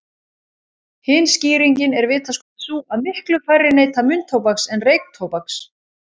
Hin skýringin er vitaskuld sú að miklu færri neyta munntóbaks en reyktóbaks.